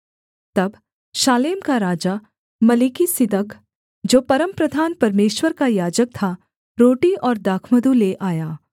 तब शालेम का राजा मलिकिसिदक जो परमप्रधान परमेश्वर का याजक था रोटी और दाखमधु ले आया